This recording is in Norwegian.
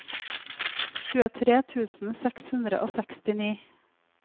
tjuetre tusen seks hundre og sekstini